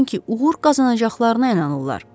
Çünki uğur qazanacaqlarına inanırlar.